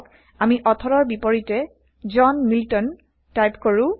আহক আমি অথৰৰ বিপৰীতে জন মিল্টন 160 টাইপ কৰো